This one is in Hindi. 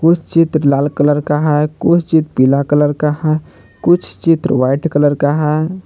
कुछ चित्र लाल कलर का है कुछ चित्र पीला कलर का है कुछ चित्र व्हाइट कलर का है।